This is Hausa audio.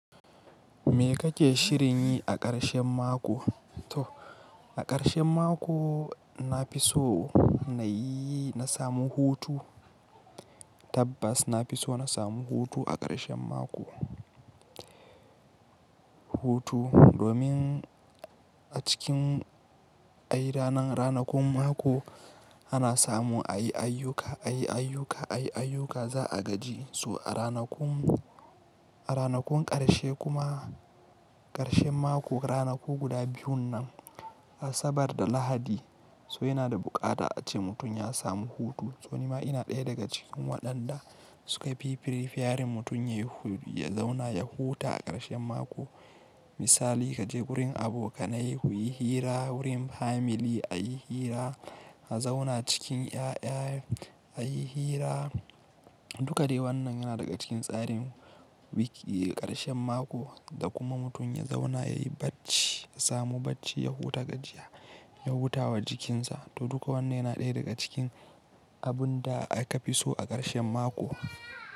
Me kake shirin yi a ƙarshen mako? To a ƙarshen mako na fi so na yi, na samu hutu. Tabbas na fi so na samu hutu a ƙarshen mako. Hutu domin a cikin ayi ranan, ranakun mako ana samu ayi ayyuka, ayi ayyuka, ayi ayyuka za a gaji. So a ranakun, a ranakun ƙarshe kuma ƙarshen mako ranaku guda biyun nan Asabar da Lahadi. So yana da buƙata ace mutum ya samu hutu. Tsoima ina ɗaya daga cikin waɗanda suka fi fifiyarin mutum yayi, ya zauna ya huta a ƙarshen mako. Misali kaje wurin abokanai kuyi hira, wurin family ayi hira, a zauna cikin ƴaƴa ayi hira. Duka dai wannan yana daga cikin tsarin wiki ƙarshen mako da kuma mutum ya zauna yayi bacci, ya samu bacci, ya huta gajiya, ya hutawa jikinsa. To duka wannan yana ɗaya daga cikin abun da aka fi so a ƙarshen mako.